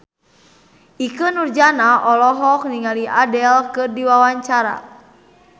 Ikke Nurjanah olohok ningali Adele keur diwawancara